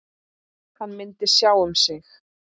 Hann myndi sjá um sig.